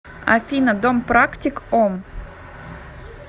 афина дом практик ом